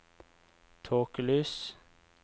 tåkelys